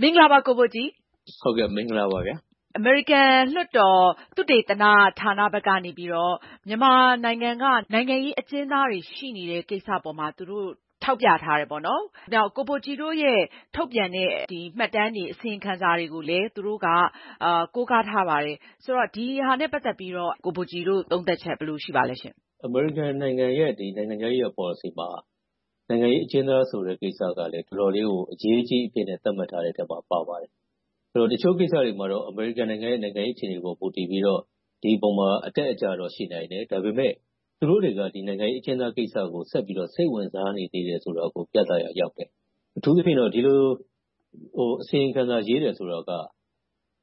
မင်္ဂလာပါ ကိုဘိုကြည်။ အမေရိကန်လွှတ်တော် သုတေသနဌာနဘက်ကနေ မြန်မာနိုင်ငံက နိုင်ငံရေးအကျဉ်းသားတွေ ရှိနေတဲ့ကိစ္စအပေါ်မှာ သူတို့ ထောက်ပြထားတယ်။ ကိုဘိုကြည်တို့ရဲ့ ထုတ်ပြန်တဲ့ မှတ်တမ်းတွေ၊ အစီရင်ခံစာတွေကိုလည်း သူတို့က ကိုးကားထားပါတယ်။ ဆိုတော့ ဒီဟာနဲ့ ပတ်သက်ပြီးတော့ ကိုဘိုကြည်တို့ သုံးသပ်ချက် ဘယ်လိုရှိပါသလဲရှင့်။ အမေရိကန်နိုင်ငံရဲ့ နိုင်ငံခြားရေးရာ ပေါ်လစီမှာ နိုင်ငံရေးအကျဉ်းသားဆိုတဲ့ ကိစ္စရပ်ကလဲ တော်တော်လေးကို အရေးကြီးအဖြစ်နဲ့ သတ်မှတ်ထားတဲ့အထဲ ပါပါတယ်။ တချို့ကိစ္စတွေမှာတော့ အမေရိကန်နိုင်ငံရဲ့ နိုင်ငံရေးအခြေအနေပေါ် မူတည်ပြီးတော့ ဒီအပေါ်မှာ အတက်အကျတော့ ရှိနိုင်တယ်။ ဒါပေမဲ့ သူတို့တွေက နိုင်ငံရေးအကျဉ်းသားကိစ္စကို ဆက်ပြီးတော့ စိတ်ဝင်စားနေသေးတယ်ဆိုတာကို ပြသရာရောက်တယ်။ အထူးသဖြင့်တော့ ဒီလို အစီရင်ခံစာ ရေးတယ်ဆိုတာက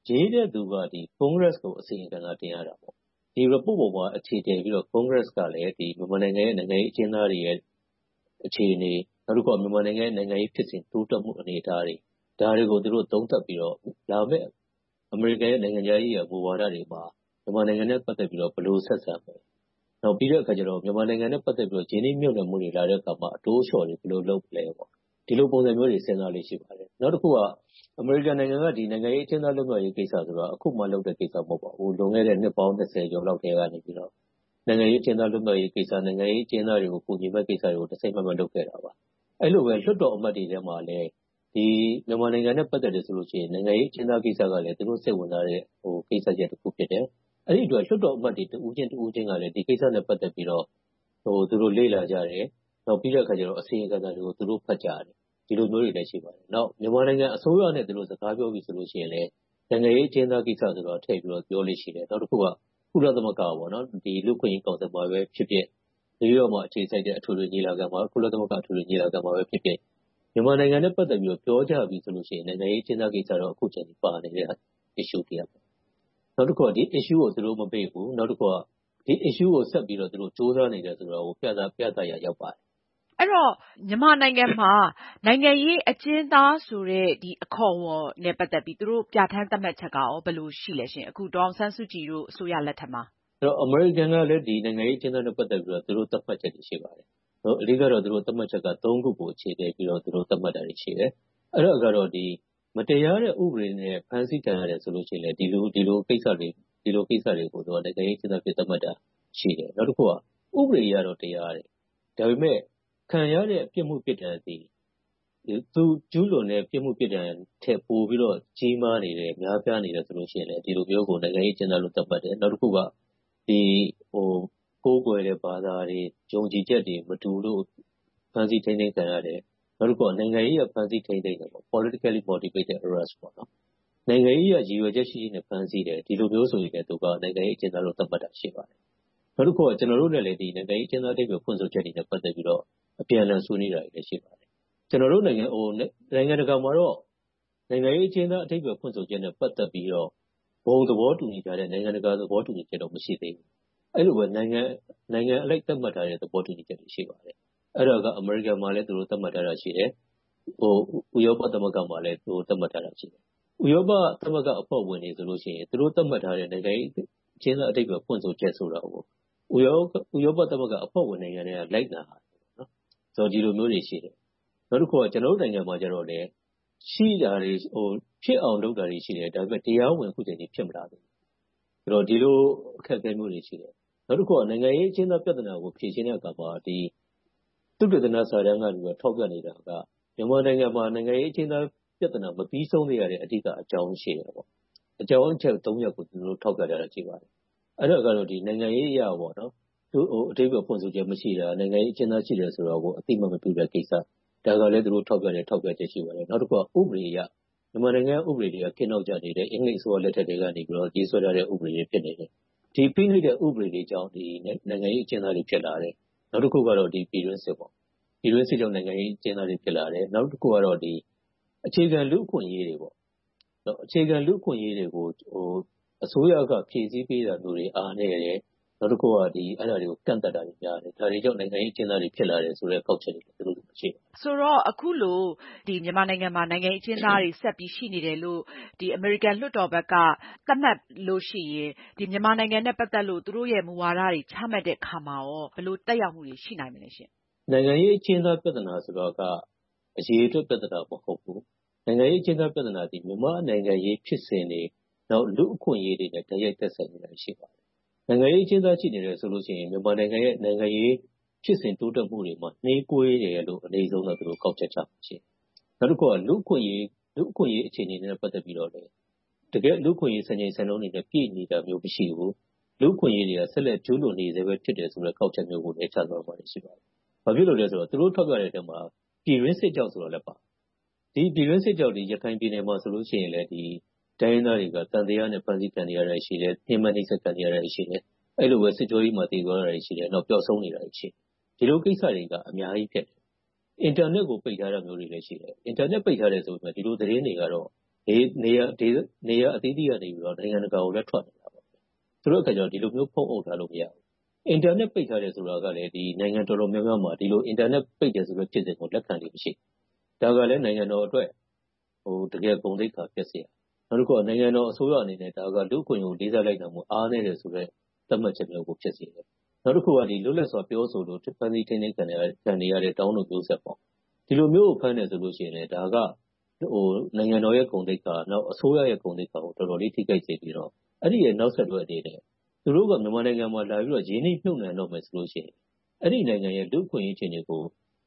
ရေးတဲ့သူက ကွန်ဂရက်ကို အစီရင်ခံစာ တင်ရတယ်။ ဒီ report ပေါ်မှာ အခြေတည်ပြီးတော့ ကွန်ဂရက်ကလည်း မြန်မာနိုင်ငံရဲ့ နိုင်ငံရေးအကျဉ်းသားတွေရဲ့ အခြေအနေ။ နောက်တစ်ခုက မြန်မာနိုင်ငံရဲ့ နိုင်ငံရေးဖြစ်စဉ် တိုးတက်မှုဖြစ်စဉ်အနေအထားတွေ ဒါတွေကို သူတို့ သုံးသပ်ပြီးတော့ လာမယ့် အမေရိကန်နိုင်ငံရဲ့ နိုင်ငံခြားရေးရာ မူဝါဒတွေမှာ မြန်မာနိုင်ငံနဲ့ ပတ်သက်ပြီးတော့ ဘယ်လိုဆက်ဆံမလဲ။ နောက်ပြီးတော့ မြန်မာနိုင်ငံနဲ့ ပတ်သက်ပြီးတော့ ရင်းနှီးမြုပ်နံှမှုတွေ လာရောက်တဲ့အခါမှာ အတိုးအလျှော့တွေ ဘယ်လိုလုပ်မလဲ။ ဒီလိုပုံစံမျိုးတွေ စဉ်းစားလေ့ ရှိပါတယ်။ နောက်တစ်ခုက အမေရိကန်နိုင်ငံက နိုင်ငံရေးအကျဉ်းသားတွေ လွတ်မြောက်ရေးကိစ္စဆိုတာ အခုမှလုပ်တဲ့ ကိစ္စ မဟုတ်ပါဘူး။ ဟိုးလွန်ခဲ့တဲ့ နှစ်ပေါင်း ကျော်လောက်ကတည်းက နိုင်ငံရေးအကျဉ်းသား လွတ်မြောက်ရေးကိစ္စ၊ နိုင်ငံရေးအကျဉ်းသားတွေကို ကူညီမယ့် ကိစ္စတွေကို တစိုက်မတ်မတ် လုပ်ခဲ့တာပါ။ အဲဒီလိုပဲ လွှတ်တော်အမတ်တွေထဲမှာလဲ မြန်မာနိုင်ငံနဲ့ ပတ်သက်တယ်ဆိုလို့ရှိရင် နိုင်ငံရေးအကျဉ်းသားကိစ္စကလဲ သူတို့စိတ်ဝင်စားတဲ့ ကိစ္စရပ်တစ်ခု ဖြစ်တယ်။ အဲဒီအတွက် လွှတ်တော်အမတ်တွေ တစ်ဦးချင်း တစ်ဦးချင်းကလဲ ဒီကိစ္စနဲ့ ပတ်သက်ပြီးတော့ သူတို့ လေ့လာကြတယ်။ နောက်ပြီးတော့ အစီရင်ခံစာတွေကို သူတို့ ဖတ်ကြတယ်။ ဒီလိုမျိုးတွေလည်း ရှိပါတယ်။ နောက်ပြီးတော့ မြန်မာနိုင်ငံအစိုးရနဲ့ သူတို့စကားပြောပြီးဆိုရင်လဲ နိုင်ငံရေးအကျဉ်းသားကိစ္စကို ထည့်ပြီးတော့ ပြောလေ့ရှိပါတယ်။ နောက်တစ်ခုက ကုလသမဂ္ဂ လူ့အခွင့်အရေး ကောင်စီမှာပဲဖြစ်ဖြစ် နယူးရော့ခ်မှာ အခြေစိုက်တဲ့ အထွေထွေညီလာခံ၊ ကုလသမဂ္ဂ အထွေထွေညီလာခံမှာပဲဖြစ်ဖြစ် မြန်မာနိုင်ငံနဲ့ ပတ်သက်ပြီးတော့ ပြောကြပြီဆိုရင် နိုင်ငံရေးအကျဉ်းသားကိစ္စကတော့ အခုအချိန်အထိ ပါနေသေးတဲ့ အကြောင်းအရာ ကိစ္စတစ်ရပ်ပေါ့။ နောက်တစ်ခုက ဒီကိစ္စရပ်ကို သူတို့မပယ်ဘူး။ နောက်တစ်ခုက ဒီကိစ္စရပ်ကို ဆက်ပြီးတော့ ကြိုးစားနေတယ်ဆိုတာကို ပြသရာရောက်ပါတယ်။ အဲဒီတော့ မြန်မာနိုင်ငံမှာ နိုင်ငံရေးအကျဉ်းသားဆိုတဲ့ အခေါ်အဝေါ်နဲ့ ပတ်သက်ပြီးတော့ သူတို့ပြဌာန်းသတ်မှတ်ချက်က ဘယ်လိုရှိပါလဲ။ အခု ဒေါ်အောင်ဆန်းစုကြည်တို့ အစိုးရလက်ထက်မှာ။ အမေရိကန်နိုင်ငံကလည်း နိုင်ငံရေးအကျဉ်းသားတွေနဲ့ ပတ်သက်ပြီး သူတို့ သတ်မှတ်ချက်တွေ ရှိပါတယ်။ အဓိက သူတို့သတ်မှတ်ချက်က ခုကို အခြေတည်ပြီးတော့ သတ်မှတ်တာတွေ ရှိတယ်။ အဲဒါကတော့ မတရားနဲ့ ဥပဒေတွေနဲ့ ဖမ်းဆီးခံရတယ်ဆိုရင်လဲ ဒီလိုကိစ္စရပ်တွေကို နိုင်ငံရေးအကျဉ်းသားအဖြစ် သတ်မှတ်တာ ရှိတယ်။ နောက်တစ်ခုက ဥပဒေအရတော့ တရားတယ်။ ဒါပေမဲ့ ခံရတဲ့ ပြစ်မှုပြစ်ဒဏ်တွေက သူကျူးလွန်တဲ့ ပြစ်မှုပြစ်ဒဏ်ထက် ပိုပြီးတော့ ကြီးမားနေတယ်၊ များပြားနေတယ်ဆိုရင် ဒီလိုမျိုးကို နိုင်ငံရေးအကျဉ်းသားအဖြစ် သတ်မှတ်တယ်။ နောက်တစ်ခုက ကိုးကွယ်တဲ့ ဘာသာတွေ၊ ယုံကြည်ချက်တွေ မတူလို့ ဖမ်းဆီးထိန်းသိမ်းခံရတယ်၊ နောက်တစ်ခုက နိုင်ငံရေးအရ ဖမ်းဆီးထိန်းသိမ်းတယ် - politically motivated arrest နိုင်ငံရေးအရ ရည်ရွယ်ချက်ရှိရှိနဲ့ ဖမ်းဆီးတယ်ဆိုရင်လဲ နိုင်ငံရေးအကျဉ်းသားလို့ သတ်မှတ်တာ ရှိပါတယ်။ နောက်တစ်ခုက ကျနော်တို့နဲ့လဲ နိုင်ငံရေးအကျဉ်းသား အဓိပ္ပါယ်ဖွင့်ဆိုချက်တွေနဲ့ ပတ်သက်ပြီးတော့ အပြန်အလှန် ဆွေးနွေးတာတွေလည်း ရှိပါတယ်။ နိုင်ငံတကာမှာတော့ နိုင်ငံရေးအကျဉ်းသား အဓိပ္ပါယ်ဖွင့်ဆိုချက်နဲ့ ပတ်သက်ပြီးတော့ ဘုံသဘောတူညီချက်၊ နိုင်ငံတကာ သဘောတူညီချက်တော့ မရှိသေးပါဘူး။ အဲဒီလိုပဲ နိုင်ငံအလိုက် သတ်မှတ်ထားတဲ့ သဘောတူညီချက်တွေ ရှိပါတယ်။ အဲဒါက အမေရိကန်မှာလည်း သတ်မှတ်ထားတာ ရှိတယ်။ ဥရောပသမဂ္ဂမှာလည်း သတ်မှတ်ထားတာ ရှိတယ်။ ဥရောပသမဂ္ဂအဖွဲ့ဝင်တွေဆိုရင် သူတို့သတ်မှတ်ထားတဲ့ နိုင်ငံရေးအကျဉ်းသား အဓိပ္ပါယ်ဖွင့်ဆိုချက်ဆိုတာကို ဥရောပသမဂ္ဂအဖွဲ့ဝင် နိုင်ငံတွေက လိုက်နာရတယ်။ ဒီလိုမျိုးတွေ ရှိတယ်။ နောက်တစ်ခါ ကျနော်တို့ နိုင်ငံမှာတော့ ဖြစ်အောင်လုပ်တာတွေ ရှိတယ်။ ဒါပေမဲ့ တရားဝင် ဒီအချိန်အထိ ဖြစ်မလာသေးဘူး။ ဒီလိုအခက်အခဲမျိုးတွေ ရှိတယ်။ နောက်တစ်ခုက နိုင်ငံရေးအကျဉ်းသားပြဿနာကို ဖြေရှင်းတဲ့အခါမှာ သုသေသနစာတမ်းကနေ ထောက်ပြနေတာက မြန်မာနိုင်ငံမှာ နိုင်ငံရေးအကျဉ်းသား ပြဿနာ မပြီဆုံးသေးတဲ့ အဓိကအကြောင်း ရှိတယ်။ အကြောင်းအရပ် ရပ်ကို ထောက်ပြတာ ရှိတယ်။ အဲဒါကတော့ နိုင်ငံရေးအရ အဓိပ္ပါယ်ဖွင့်ဆိုချက် မရှိတာ။ နိုင်ငံရေးအကျဉ်းသား ရှိတယ်ဆိုတာကို အသိအမှတ် မပြုတဲ့ကိစ္စ။ ဒါကလဲ သူတို့ထောက်ပြတဲ့ ထောက်ပြချက် ရှိပါတယ်။ နောက်တစ်ခုက မြန်မာနိုင်ငံက ဥပဒေတွေက ခေတ်နောက်ကျနေတယ်။ အင်္ဂလိပ်အစိုးရလက်ထက်ကတည်းက ရေးဆွဲထားတဲ့ ဥပဒေတွေ ဖြစ်နေတယ်။ ဒီ ဖိနှိပ်တဲ့ ဥပဒေတွေကြောင့် နိုင်ငံရေးအကျဉ်းသားတွေ ဖြစ်လာတယ်။ နောက်တစ်ခုကတော့ ပြည်တွင်းစစ်။ ပြည်တွင်းစစ်ကြောင့် နိုင်ငံရေးအကျဉ်းသားတွေ ဖြစ်လာတယ်။ နောက်တစ်ခုကတော့ အခြေခံလူ့အခွင့်အရေးတွေကို အစိုးရက ဖြေရှင်းပေးတာမျိုးတွေ အားနည်းတယ်။ နောက်တစ်ခုက အဲဒါတွေကို ကန့်သတ်တာများတယ်။ ဒါတွေကြောင့် နိုင်ငံရေးအကျဉ်းသားတွေ ဖြစ်လာတယ်ဆိုတဲ့ ကောက်ချက်တွေ ရှိကြတယ်။ ဆိုတော့ အခုလို မြန်မာနိုင်ငံမှာ နိုင်ငံရေးအကျဉ်းသားတွေ ဆက်ပြီးရှိနေတယ်လို့ အမေရိကန်လွှတ်တော်ဘက်က သတ်မှတ်လို့ရှိရင် မြန်မာနိုင်ငံနဲ့ ပတ်သက်လို့ သူတို့ရဲ့ မူဝါဒတွေ ချမှတ်တဲ့အခါမှာ ဘယ်လိုသက်ရောက်မှုတွေ ရှိနိုင်မလဲ။ နိုင်ငံရေးအကျဉ်းသား ပြဿနာဆိုတာက အရေအတွက် ပြဿနာ မဟုတ်ဘူး။ နိုင်ငံရေးအကျဉ်းသား ပြဿနာသည် မြန်မာနိုင်ငံရေးဖြစ်စဉ်တွေ နောက် လူ့အခွင့်အရေးတွေနဲ့ တိုက်ရိုက်ဆက်စပ်နေတာ ရှိပါတယ်။ နိုင်ငံရေးအကျဉ်းတွေ ရှိနေတယ်ဆိုရင် မြန်မာနိုင်ငံရဲ့ နိုင်ငံရေးဖြစ်စဉ် တိုးတက်မှုတွေမှာ နှေးကွေးနေတယ်လို့ အနိမ့်ဆုံးကနေ ကောက်ချက်ချလေ့ရှိတယ်။ နောက်တစ်ခုက လူ့အခွင့်အရေးအခြေအနေနဲ့ ပတ်သက်ပြီးတော့ တကယ့်လူ့အခွင့်အရေး စံချိန်စံနှုန်းတွေနဲ့ ပြည့်နေတာမျိုး မရှိဘူး။ လူ့အခွင့်အရေးတွေက ဆက်လက်ကျူးလွန်နေဆဲပဲ ဖြစ်တယ်ဆိုတဲ့ ကောက်ချက်မျိုးကိုလည်း ချမှတ်ထားတာ ရှိပါတယ်။ ဘာဖြစ်လို့လဲဆိုတော့ သူတို့ထောက်ပြတဲ့အထဲမှာ ပြည်တွင်းစစ်ကြောင့်ဆိုတာလဲ ပါတယ်။ ဒီနေ့ ပြည်တွင်းစစ်ကြောင့် ရခိုင်ပြည်နယ်မှာဆိုရင် တိုင်းရင်းသားတွေက သံသယနဲ့ ဖမ်းဆီးခံနေရတာရှိတယ်။ ညဉ်းပန်းနှိပ်စက်ခံနေရတာတွေ ရှိတယ်။ အဲဒီလိုပဲ စစ်ကြောရေးမှာ သေသွားတာတွေလည်း ရှိတယ်။ နောက် ပျောက်ဆုံးနေတာတွေလည်း ရှိတယ်။ ဒီလိုကိစ္စရပ်တွေက အများကြီးဖြစ်နေတယ်။ အင်တာနက်ကို ပိတ်ထားတာတွေလည်း ရှိတယ်။ အင်တာနက်ပိတ်ထားတယ်ဆိုပေမယ့် ဒီလိုသတင်းတွေကတော့ နေရာအသီးသီးကနေ နိုင်ငံတကာကိုလည်း ထွက်နေတယ်ဆိုတော့ ဒီလိုမျိုး ဖုံးအုပ်ထားလို့ မရဘူး။ အင်တာနက် ပိတ်ထားတယ်ဆိုတာကလည်း နိုင်ငံတော်တော်များများမှာ အင်တာနက်ပိတ်တယ်ဆိုတဲ့ ဖြစ်စဉ်ကို လက်ခံလေ့ မရှိဘူး။ ဒါကလဲ နိုင်ငံတော်အတွက် တကယ်ကို ဂုဏ်သိက္ခာပျက်စရာ။ နောက်တစ်ခါ နိုင်ငံတော်အစိုးရအနေနဲ့ ဒါက လူ့အခွင့်အရေးကို လေးစားလိုက်နာမှု အားနည်းတယ်ဆိုတဲ့ သတ်မှတ်ချက်များကို ဖြစ်စေတယ်။ နောက်တစ်ခုက လွတ်လပ်စွာ ပြောဆိုလို့ ဖမ်းဆီးထိန်းသိမ်းခံထားရတဲ့ ဒေါင်းတို့မျိုးဆက်ပေါ့။ ဒီလိုမျိုးကို ဖမ်းတယ်ဆိုရင်လဲ ဒါက နိုင်ငံတော်ရဲ့ ဂုဏ်သိက္ခာ၊ အစိုးရရဲ့ ဂုဏ်သိက္ခာတွေကို တော်တော်လေး ထိခိုက်စေပြီးတော့ အဲဒီရဲ့ နောက်ဆက်တွဲအနေနဲ့ သူတို့က မြန်မာနိုင်ငံမှာ လာပြီးတော့ ရင်းနှီးမြုပ်နံှတော့မယ်ဆိုရင် အဲဒီနိုင်ငံရဲ့ လူ့အခွင့်အရေး အခြေအနေကို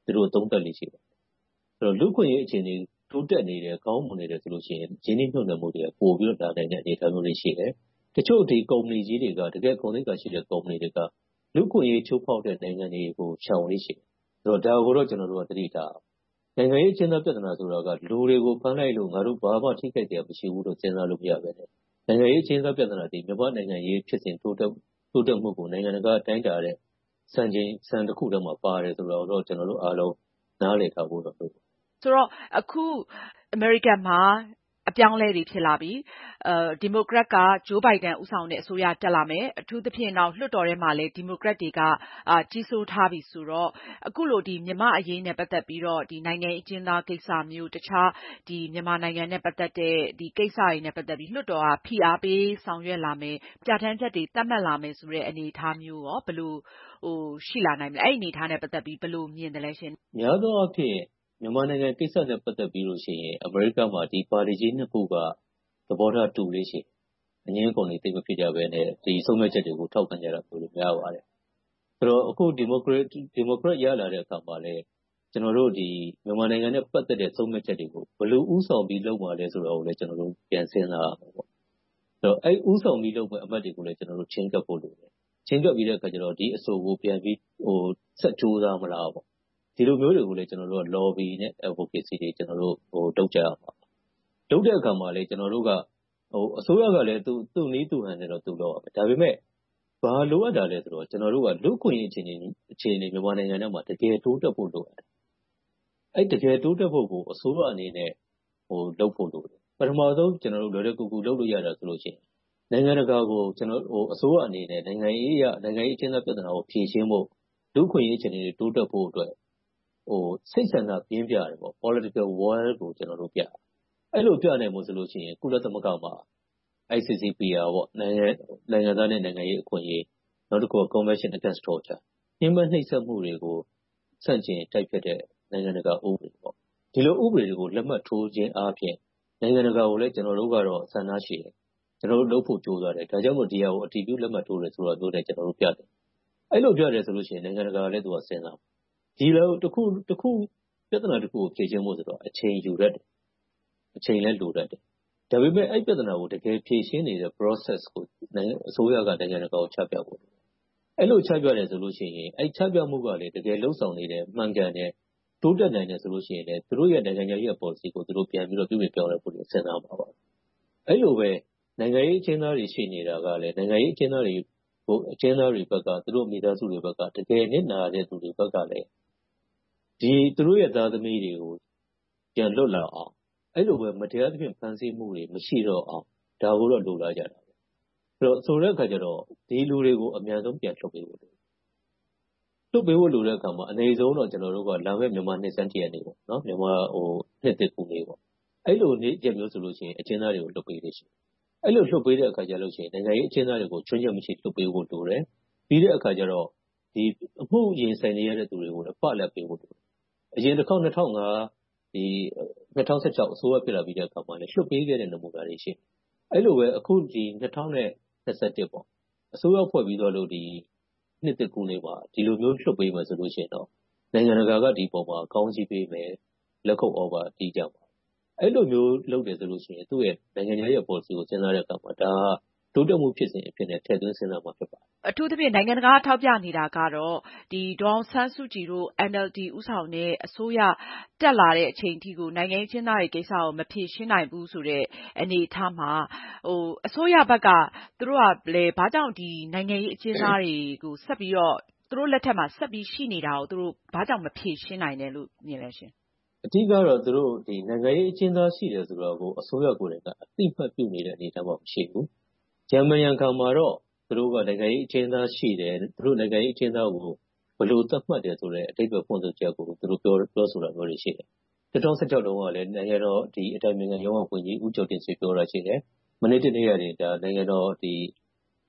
သုံးသပ်လေ့ ရှိပါတယ်။ လူ့အခွင့်အရေးအခြေအနေ၊ တိုးတက်နေတယ်၊ ကောင်းမွန်နေတယ်ဆိုရင် ရင်းနှီးမြုပ်နံှမှုတွေ ပိုပြီးတော့ လာနိုင်တဲ့ အနေအထားမျိုးတွေ ရှိတယ်။ တချို့ ကုမ္ပဏီကြီးတွေက ဂုဏ်သိက္ခာရှိတဲ့ ကုမ္ပဏီကြီးတွေက လူ့အခွင့်အရေး ချိုးဖောက်တဲ့ နိုင်ငံတွေကို ရှောင်လေ့ရှိတယ်။ ဒါကိုတော့ ကျနော်တို့က သတိထားရပါမယ်။ နိုင်ငံရေးအကျဉ်းသား ပြဿနာဆိုတာက လူတွေကို ဖမ်းလိုက်လို့ ငါတို့ ဘာမှထိခိုက်စရာ မရှိဘူးလို့ စဉ်းစားလို့မရဘဲနဲ့ နိုင်ငံရေးအကျဉ်းသား ပြဿနာသည် မြန်မာနိုင်ငံရေး ဖြစ်စဉ်တိုးတက်မှုကို နိုင်ငံတကာက တိုင်းတာနဲ့ စံချိန်စံတစ်ခုထဲမှာ ပါတယ်ဆိုတာကိုတော့ ကျနော်တို့အားလုံး နားလည်ထားဖို့တော့ လိုတယ်။ ဆိုတော့ အခုအမေရိကန်မှာ အပြောင်းအလဲတွေ ဖြစ်လာပြီ၊ ဒီမိုကရက်က ဂျိုးဘိုင်ဒန် ဦးဆောင်တဲ့ အစိုးရတက်လာမယ်။ အထူးသဖြင့် လွှတ်တော်ထဲမှာလည်း ဒီမိုကရက်တွေက ကြီးစိုးထားပြီဆိုတော့ အခုလို မြန်မာ့အရေးနဲ့ ပတ်သက်ပြီးတော့ နိုင်ငံရေးအကျဉ်းသားကိစ္စမျိုး၊ တခြားမြန်မာနိုင်ငံနဲ့ ပတ်သက်တဲ့ ကိစ္စတွေနဲ့ ပတ်သက်ပြီး လွှတ်တော်က ဖိအားပေးဆောင်ရွက်လာမယ်၊ ပြဌာန်းချက်တွေ သတ်မှတ်လာမယ်ဆိုတဲ့ အနေအထားမျိုး ဘယ်လိုရှိလာနိုင်မလဲ။ အဲဒီအနေအထားနဲ့ ပတ်သက်ပြီး ဘယ်လိုမြင်သလဲ။ များသောအားဖြင့် မြန်မာနိုင်ငံကိစ္စနဲ့ ပတ်သက်လို့ရှိရင် အမေရိကမှာ ဒီပါတီကြီး နှစ်ခုက သဘောထားတူလေ့ရှိတယ်။ အငြင်းအခုန်တွေ သိပ်မဖြစ်ကြဘဲနဲ့ ဆုံးဖြတ်ချက်တွေကို ထောက်ခံကြတာ များပါတယ်။ အခု ဒီမိုကရက် ရလာတဲ့အခါမှာလဲ ကျနော်တို့ မြန်မာနိုင်ငံနဲ့ ပတ်သက်တဲ့ ဆုံးဖြတ်ချက်တွေကို ဘယ်လိုဦးဆောင်ပြီး လုပ်မှာလဲဆိုတာကို ကျနော်တို့ ပြန်စဉ်းစားရမယ်။ အဲဒီဦးဆောင်ပြီးလုပ်မယ့် အမတ်တွေကိုလည်း ကျနော်တို့ ချဉ်းကပ်ဖို့လိုတယ်။ ချဉ်းကပ်ပြီးတော့ ဒီအဆိုကို ပြန်ပြီး ဆက်ကြိုးစားမလားပေါ့။ ဒီလိုမျိုးတွေကိုလဲ ကျနော်တို့က lobby နဲ့ advocacy တွေ လုပ်ကြရမှာပါ။ လုပ်တဲ့အခါမှာလဲ ကျနော်တို့က အစိုးရကလဲ သူ့နည်းသူ့ဟန်နဲ့ သူလုပ်ရမယ်။ ဒါပေမဲ့ ဘာလိုအပ်တာလဲဆိုတော့ ကျနော်တို့ လူ့အခွင့်အရေးအခြေအနေ မြန်မာနိုင်ငံထဲမှာ တကယ်တိုးတက်ဖို့ လုပ်ရတယ်။ အဲဒီလို တိုးတက်ဖို့ကို အစိုးရအနေနဲ့ လုပ်ဖို့လိုတယ်။ ပထမဦးဆုံး ကျနော်တို့ လွယ်လွယ်ကူကူ လုပ်လို့ရတာရှိတယ်။ နိုင်ငံတကာကို အစိုးရအနေနဲ့ နိုင်ငံရေးအရ နိုင်ငံရေးအကျဉ်းသား ပြဿနာကို ဖြေရှင်းဖို့၊ လူ့အခွင့်အရေးအခြေအနေတွေ တိုးတက်ဖို့အတွက် စိတ်ဆန္ဒပြင်းပြတဲ့ political will ကို ပြသရမယ်။ အဲဒီလို ပြနိုင်ဖို့ဆိုရင် ကုလသမဂ္ဂမှာ ICCPR နိုင်ငံသားနဲ့ နိုင်ငံသားအခွင့်အရေး။ နောက်တစ်ခုက commission against torture ညဉ်းပမ်းနှိပ်စက်မှုတွေက ဆန့်ကျင်တိုက်ဖျက်တဲ့ နိုင်ငံတကာဥပဒေတွေ။ ဒီလိုဥပဒေတွေကို လက်မှတ်ထိုးခြင်းအားဖြင့် နိုင်ငံတကာကိုလည်း ကျနော်တို့က ဆန္ဒရှိတယ်။ ကျနော်တို့ လုပ်ဖို့ကြိုးစားတယ်။ ဒါကြောင့်မို့ ဒီဟာကို အတည်ပြုလက်မှတ်ထိုးတာမျိုးနဲ့ ကျနော်တို့ ပြတယ်။ အဲဒီလိုပြတဲ့ဆိုရင်လဲ နိုင်ငံတကာကလည်း သူတို့က စဉ်းစားမယ်။ ပြဿနာတစ်ခုကို ဖြေရှင်းဖို့ဆိုတာ အချိန်ယူတတ်တယ်။ အချိန်လည်း လိုတတ်တယ်။ ဒါပေမဲ့ အဲဒီပြဿနာကို တကယ်ဖြေရှင်းနေတဲ့ process ကို အစိုးရက နိုင်ငံတကာကို ချပြဖို့လိုတယ်။ အဲဒီလို ချပြတယ်ဆိုရင် အဲဒီချပြမှုက တကယ်လုပ်ဆောင်နေတယ်။ မှန်ကန်တယ်၊ တိုးတက်နိုင်မယ်ဆိုရင်လဲ သူတို့ရဲ့ နိုင်ငံခြားရေးရာ ပေါ်လစီကို ပြန်ပြီးတော့ ပြုပြင်ပြောင်းလဲဖို့ စဉ်းစားလိမ့်မယ်။ အဲဒီလိုပဲ နိုင်ငံရေးအကျဉ်းသားတွေ ရှိနေတာကလဲ၊ နိုင်ငံရေးအကျဉ်းသားတွေဘက်က၊ မိသားစုဝင်တွေဘက်က တကယ်နစ်နာသူတွေဘက်ကလဲ သူတို့ရဲ့ သားသမီးတွေကို ပြန်လွတ်လာအောင်။ အဲဒီလိုပဲ မတရားသဖြင့် ဖမ်းဆီးမှုတွေ မရှိတော့အောင် ဒါကိုတော့ လိုလားကြပါတယ်။ ဆိုတဲ့အခါကြတေ့ာ ဒီလူတွေကို အမြန်ဆုံး ပြန်လွှတ်ပေးဖို့လိုတယ်။ လွှတ်ပေးတဲ့အခါမှာ အနိမ့်ဆုံးတော့ မြန်မာနိုင်ငံ နှစ်ဆန်းတစ်ရက်နေပေါ့။ မြန်မာနှစ်သစ်ကူးနေ့ပေါ့။ အဲဒီလိုနေ့ရက်မျိုးဆိုရင် နိုင်ငံရေးအကျဉ်းသားတွေကို လွှတ်ပေးလေ့ရှိတယ်။ အဲဒီလို လွှတ်ပေးတဲ့အခါကြရင် နိုင်ငံရေးအကျဉ်းသားတွေကို ခြွင်းချက်မရှိ လွှတ်ပေးဖို့လိုတယ်။ ပြီးတဲ့အခါကြတော့ အမှုရင်ဆိုင်နေရတဲ့လူတွေကို ပလပ်ပေးဖို့လိုတယ်။ အရင်တစ်ခေါက် ၂၀၁၅-၁၆ အစိုးရ ဖြစ်လာပြီးတဲ့အခါမှာ လွှတ်ပေးခဲ့တဲ့ နမူနာတွေ ရှိတယ်။ အဲဒီလိုပဲ အခု ၂၀၂၁ အစိုးရ ဖွဲ့ပြီးသွားလို့ နှစ်သစ်ကူးနေမှာ ဒီလိုမျိုး လွှတ်ပေးမယ်ဆိုရင်တော့ နိုင်ငံတကာက ဒီအပေါ်မှာ ကောင်းချီးပေးမယ်။ လက်ခုပ်သြဘာတီးကြမယ်။ အဲဒီလိုမျိုး လုပ်တယ်ဆိုရင် သူ့ရဲ့ နိုင်ငံခြားရေးရာ ပေါ်လစီကို စဉ်းစားတဲ့အခါမှာ ဒါက တိုးတက်မှုဖြစ်စဉ်အဖြစ်နဲ့ ထည့်သွင်းစဉ်းစားမှာဖြစ်တယ်။ အထူးသဖြင့် နိုင်ငံတကာက ထောက်ပြနေတာကတော့ ဒေါ်အောင်ဆန်းစုကြည် ဦးဆောင်နေတဲ့ NLD အစိုးရ တက်လာတဲ့အချိန်အထိ နိုင်ငံရေးအကျဉ်းသားတွေ ကိစ္စကို မဖြေရှင်းဘူးဆိုတဲ့ အနေအထားမှာ အစိုးရဘက်က သူတို့က ဘာကြောင့် နိုင်ငံရေးအကျဉ်းသားတွေကို ဆက်ပြီးတော့ သူတို့လက်ထက်မှာ ဆက်ပြီးတော့ ရှိနေတာကို ဘာကြောင့် မဖြေရှင်းနိုင်တာလဲလို့ မြင်မိပါလဲ။ အဓိကတော့ နိုင်ငံရေးအကျဉ်းသား ရှိတယ်ဆိုတာကို အစိုးရကိုယ်တိုင်က အသိအမှတ်ပြုနေတဲ့ အနေအထားမှာ ရှိမနေဘူး။ ရန်မံရန်ခါမှာတော့ သူတို့က နိုင်ငံရေးအကျဉ်းသားရှိတယ်။ နိုင်ငံရေးအကျဉ်းသားကို ဘယ်လိုသတ်မှတ်တယ်ဆိုတဲ့ အဓိပ္ပါယ်ဖွင့်ဆိုချက်ကို သူတို့ ပြောဆိုတာမျိုးတွေ ရှိတယ်။ ၂၀၁၆ တုန်းကလဲ နိုင်ငံတော်အတိုင်ပင်ရုံးက ဝန်ကြီး ဦးကျော်တင့်ဆွေက ပြောတာရှိတယ်။ မနေ့တနေ့ကပဲ နိုင်ငံတော်